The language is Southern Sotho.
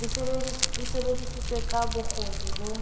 e sebedisitswe ka bokgoni bo